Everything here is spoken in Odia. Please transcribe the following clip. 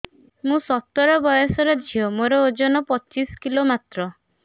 ମୁଁ ସତର ବୟସର ଝିଅ ମୋର ଓଜନ ପଚିଶି କିଲୋ ମାତ୍ର